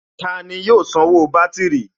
Tani yóò sanwó bátìrì?